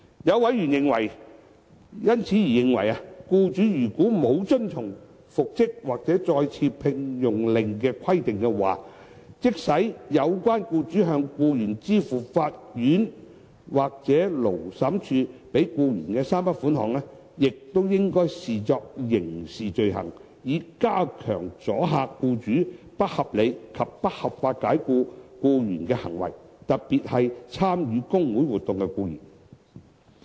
有委員因而認為，僱主如果沒有遵從復職或再次聘用令的規定，即使有關僱主向僱員支付法院或勞審處判給僱員的3筆款項，亦應被視作刑事罪行，以加強阻嚇僱主不合理及不合法解僱僱員的行為，特別是參與工會活動的僱員。